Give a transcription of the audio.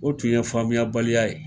O tun ye faamuya baliya ye.